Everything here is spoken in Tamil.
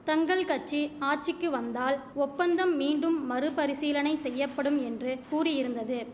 தங்கள் கட்சி ஆட்சிக்கி வந்தால் ஒப்பந்தம் மீண்டும் மறுபரிசீலனை செய்யப்படும் என்று கூறியிருந்தது